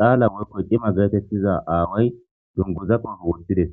xaala woykko cima geetettiza aaway dunguzaqo wottides